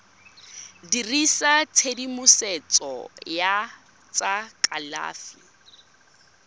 dirisa tshedimosetso ya tsa kalafi